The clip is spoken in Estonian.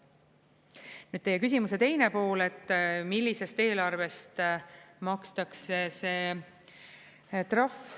Nüüd teie küsimuse teine pool, et millisest eelarvest makstakse see trahv.